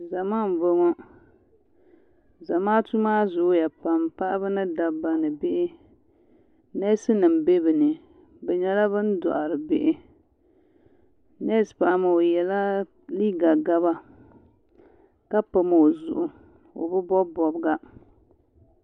Zama m-bɔŋɔ zamaatu maa zooya pam paɣiba ni dabba neesinima be bɛ nii bɛ nyɛla ban dɔhiri bihi neesi paɣa maa o yela liiga gaba ka pam o zuɣu o bi bɔbi bɔbiga.